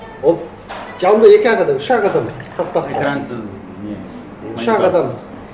ол жанымда екі ақ адам үш ақ адам составта экрансыз не үш ақ адамбыз